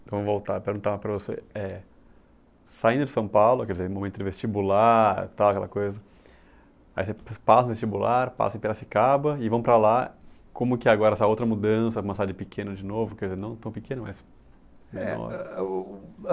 Então voltar a perguntar para você, eh, saindo de São Paulo, quer dizer, momento de vestibular, tal, aquela coisa, aí vocês passam no vestibular, passam em Piracicaba e vão para lá, como que agora essa outra mudança, começar de pequeno de novo, quer dizer, não tão pequeno, mas menor? Eh eh o